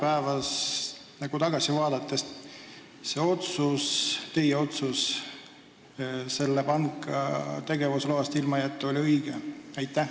Kas nüüd tagasi vaadates teie otsus selle panga tegevusloast ilmajätmise kohta oli õige?